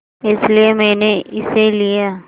इसलिए मैंने इसे लिया